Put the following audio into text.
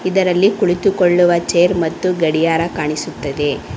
ಇದರಲ್ಲಿ ಕುಳಿತುಕೊಳ್ಳುವ ಚೇರ್ ಮತ್ತು ಗಡಿಯಾರ ಕಾಣಿಸುತ್ತದೆ.